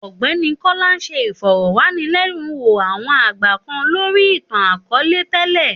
Ògbéni Kola n sé ìfõrõwànilènúwò awōn àgbà kan lòri itan àkõõle télè.